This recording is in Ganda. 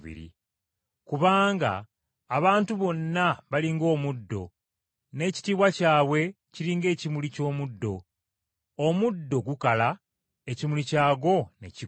Kubanga, “Abantu bonna bali ng’omuddo, n’ekitiibwa kyabwe kiri ng’ekimuli ky’omuddo. Omuddo gukala, ekimuli kyagwo ne kigwa.